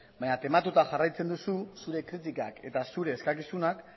baina tematuta jarraitzen duzu zure kritikak eta zure eskakizunak